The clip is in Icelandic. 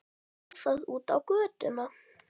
Við létum til skarar skríða.